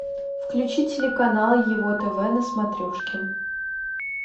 включи телеканал его тв на смотрешке